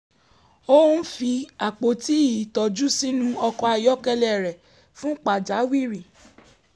ó fi àpòtí ìtọ́jú sínú ọkọ̀ ayọ́kẹ́lẹ́ rẹ̀ fún pàjáwìrì